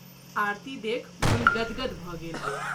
आरती देखि मोन गद गद भ’ गेल।